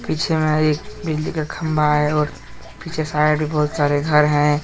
पीछे में एक बिजली का खंभा है और पीछे साइड बहुत सारे घर हैं।